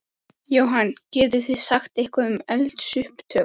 Jóhann: Getið þið sagt eitthvað um eldsupptök?